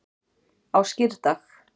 á skírdag